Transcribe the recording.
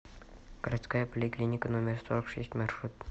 городская поликлиника номер сорок шесть маршрут